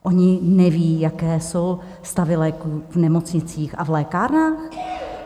Oni neví, jaké jsou stavy léků v nemocnicích a v lékárnách?